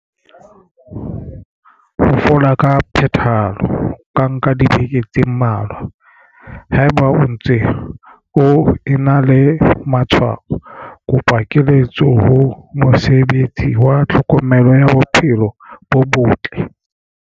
Ho fola ka phethahalo ho ka nka dibeke tse mmalwa. Haeba o ntse o ena le matshwao, kopa keletso ho mosebetsi wa tlhokomelo ya bophelo bo botle.